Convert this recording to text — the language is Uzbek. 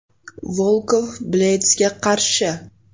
Volkov Bleydsga qarshi.